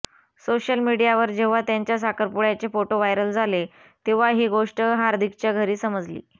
social मीडियावर जेव्हा त्यांच्या सारखपुड्याचे फोटो व्हायरल झाले तेव्हा ही गोष्ट हार्दिकच्या घरी समजली